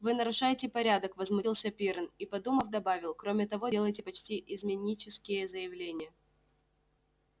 вы нарушаете порядок возмутился пиренн и подумав добавил кроме того делаете почти изменнические заявления